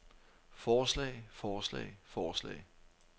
forslag forslag forslag